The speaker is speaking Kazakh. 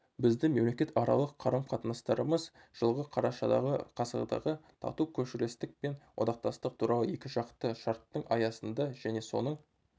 біздің мемлекетаралық қарым-қатынастарымыз жылғы қарашадағы ғасырдағы тату көршілестік пен одақтастық туралы екіжақты шарттың аясында және соның